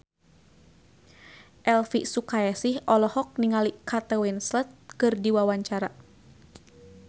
Elvi Sukaesih olohok ningali Kate Winslet keur diwawancara